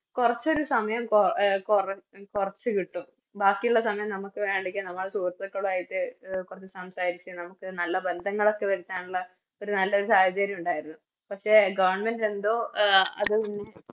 കൊറച്ചൊരു സമയം കൊ കൊറ കൊറച്ചു കിട്ടും ബാക്കിയുള്ള സമയം നമക്ക് വേണെങ്കി നമ്മളെ സുഹൃത്തുക്കളുവായിട്ട് എ കൊറച്ച് സംസാരിച്ച് നമുക്ക് നല്ല ബന്ധങ്ങളൊക്കെ വെരുത്താനുള്ള ഒരു നല്ലൊരു സാഹചര്യം ഉണ്ടായിരുന്നു പക്ഷെ Government എന്തോ അത് പിന്നെ